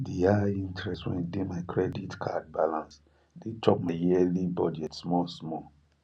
the high interest wey dey my credit card balance dey chop my yearly budget small small